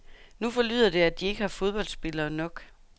Nu forlyder det, at de ikke har fodboldspillere nok.